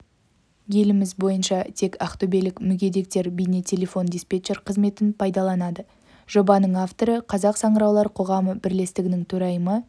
еліміз бойынша тек ақтөбелік мүгедектер бейне-телефон диспетчер қызметін пайдаланады жобаның авторы қазақ саңыраулар қоғамы бірлестігінің төрайымы